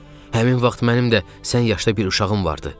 Həmin vaxt mənim də sən yaşda bir uşağım vardı.